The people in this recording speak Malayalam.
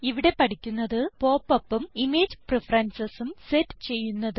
ഇവിടെ പഠിക്കുന്നത് പോപ്പ് upഉം ഇമേജ് preferencesഉം സെറ്റ് ചെയ്യുന്നത്